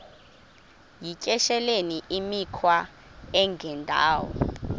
yityesheleni imikhwa engendawo